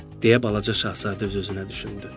deyə balaca şahzadə öz-özünə düşündü.